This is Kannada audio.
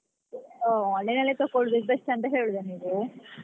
ಹೋ online ಅಲ್ಲಿ ತೆಕೊಳೋದು best ಅಂತ ಹೇಳೋದಾ ನೀವು?